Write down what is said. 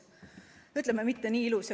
No ütleme, et mitte kuigi ilus.